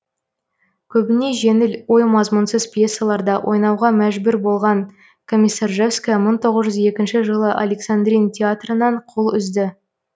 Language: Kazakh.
көбіне жеңіл ой мазмұнсыз пьесаларда ойнауға мәжбүр болған комиссаржевская мың тоғыз жүз екінші жылы александрин театрынан қол үзді